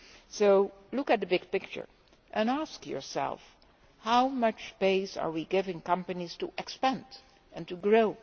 So look at the big picture and ask yourself this how much space are we giving companies to expand and grow?